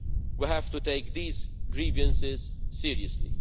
We have to take these grievances seriously.